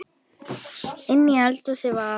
Inni í eldhúsi var